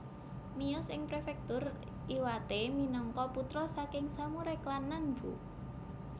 Miyos ing Prefektur Iwate minangka putra saking samurai klan Nanbu